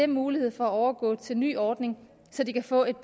mulighed for at overgå til ny ordning så de kan få et